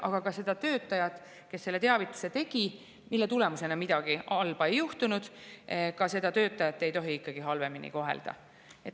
Aga ka seda töötajat, kes tegi teavituse, mille tulemusena midagi halba ei juhtunud, ei tohi ikkagi halvemini kohelda.